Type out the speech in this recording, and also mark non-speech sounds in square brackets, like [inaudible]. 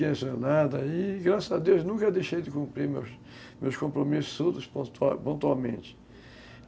[unintelligible] e, graças a Deus, nunca deixei de cumprir meus compromissos pontualmente.